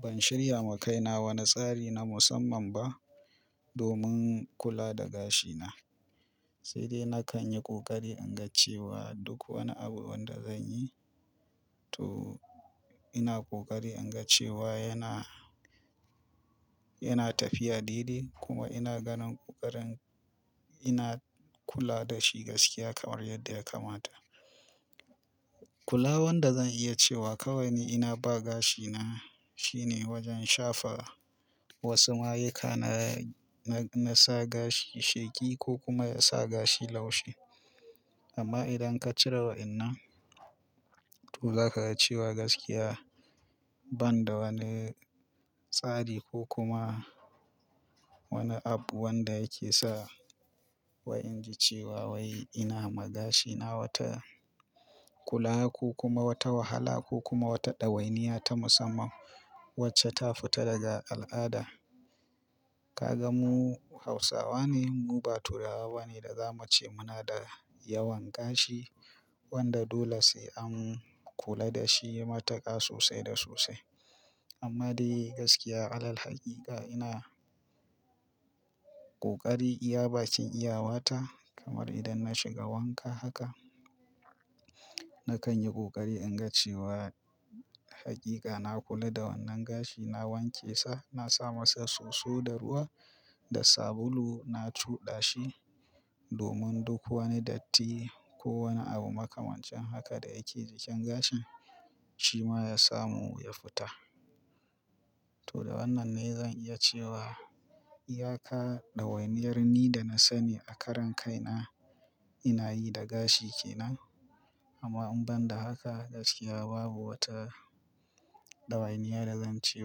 Ban shirya ma kaina wani tsari na musamman ba domin kula da gashina. Sai dai na kan yi ƙoƙari in ga cewa duk wani abu wanda zan yi, to ina ƙoƙari in ga cewa yana, yana tafiya daidai kuma ina ganin ƙoƙarin ina kula da shi gaskiya kamar yadda ya kamata. Kulawar da zan iya cewa kawai ina ba gashina shine wajen shafa wasu mayuka na, na, na sa gashi sheƙi ko kuma ya sa gashi laushi. Amma idan ka cire wa'innan, to za ka ga cewa gaskiya ban da wani tsari ko kuma wani app wanda yake sa wa in ji cewa wai ina ma gashina wata kula ko kuma wata wahala ko kuma wata ɗawainiya ta musamman wacce ta fita daga al'ada. Ka ga mu Hausawa ne, mu ba turawa ba ne da za mu ce muna da yawan gashi wanda dole sai an kula da shi matuƙa sosai da sosai. Amma dai gaskiya, alal haƙiƙa ina ƙoƙari iya bakin iyawata kamar idan na shiga wanka haka, na kan yi ƙoƙari in ga cewa haƙiƙa na kula da wannan gashi, na wanke sa, na sa masa soso da ruwa da sabulu, na cuɗa shi. Domin duk wani datti ko wani abu makamancin haka da yake jikin gashin shi ma ya samu ya fita. To da wannan ne zan iya cewa iya ka ɗawainiyar ni da na sani a karon kaina ina yi da gashi ke nan. Amma in ban da haka gaskiya babu wata ɗawainiya da zan ce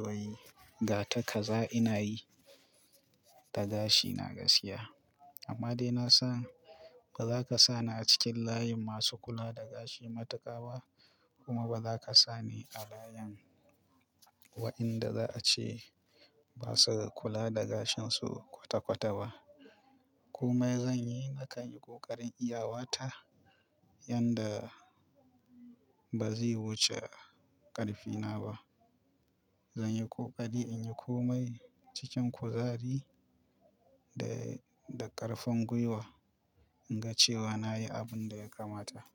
wai ga ta kaza ina yi da gashina gaskiya. Amma dai na san ba za ka sa ni a cikin layin masu kula da gashi matuƙa ba kuma ba za ka sa ni a layin wa'inda za a ce ba su kula da gashinsu kwata-kwata ba. Komai zan yi, na kan yi ƙoƙarin iyawata yanda ba zai wuce ƙarfina ba. Zan yi ƙoƙari in yi komai cikin kuzari da, da ƙarfin gwiwa in ga cewa na yi abin da ya kamata.